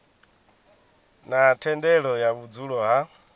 na thendelo ya vhudzulo ha